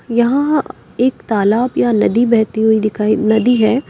यहां एक तालाब या नदी बहती हुई दिखाई नदी है।